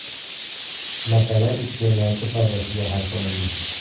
Masala iste’molchi foydasiga hal qilindi.